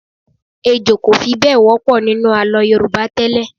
Ejò kò fi bẹ́ẹ̀ wọ́pọ̀ nínú àlọ́ Yorùbá tẹ́lẹ̀.